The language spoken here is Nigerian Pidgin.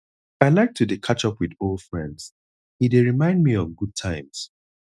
i like to dey catch up with old friends e dey remind me of good times